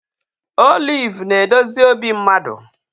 Oliv na-edozi obi mmadụ